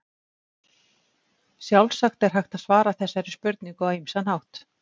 Sjálfsagt er hægt að svara þessari spurningu á ýmsan hátt.